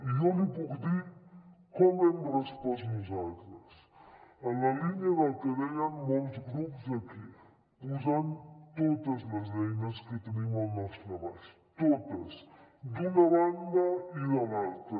i jo li puc dir com hem respost nosaltres en la línia del que deien molts grups aquí posant totes les eines que tenim al nostre abast totes d’una banda i de l’altra